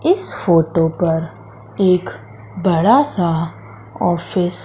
इस फोटो पर एक बड़ा सा ऑफिस --